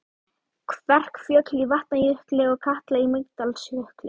Kverkfjöll í Vatnajökli og Katla í Mýrdalsjökli.